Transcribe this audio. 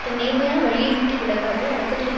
தன் நேர்மையான வழியை விட்டு விலகாது அடக்கத்துடன்